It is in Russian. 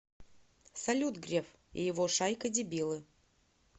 салют греф и его шайка дебилы